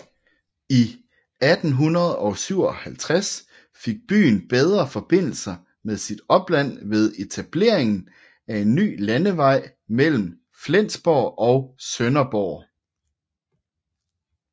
I 1857 fik byen bedre forbindelser med sit opland ved etableringen af en ny landevej mellem Flensborg og Sønderborg